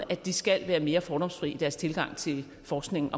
at de skal være mere fordomsfri i deres tilgang til forskningen